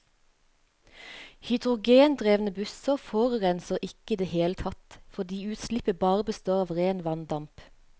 Hydrogendrevne busser forurenser ikke i det hele tatt, fordi utslippet bare består av ren vanndamp.